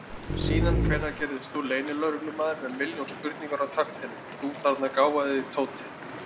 Síðan hvenær gerðist þú leynilögreglumaður með milljón spurningar á takteinum, þú þarna gáfaði Tóti!